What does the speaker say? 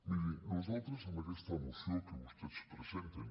miri nosaltres en aquesta moció que vostès presen·ten